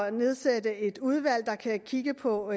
at nedsætte et udvalg der kan kigge på